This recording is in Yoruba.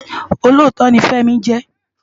Ólótó ni Femi jè